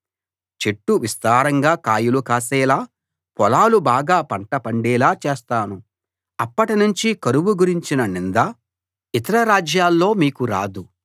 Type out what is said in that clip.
చెట్లు విస్తారంగా కాయలు కాసేలా పొలాలు బాగా పంట పండేలా చేస్తాను అప్పటినుంచి కరువు గురించిన నింద ఇతర రాజ్యాల్లో మీకు రాదు